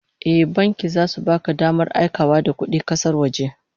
Eh, banki zasu baka damar aikawa da kudi kasar waje